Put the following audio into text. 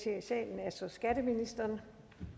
ser i salen er så skatteministeren